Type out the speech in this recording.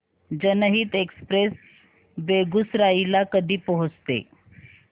जनहित एक्सप्रेस बेगूसराई ला कधी पोहचते